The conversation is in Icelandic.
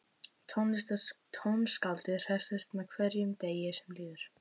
Tónskáldið hressist með hverjum degi sem líður.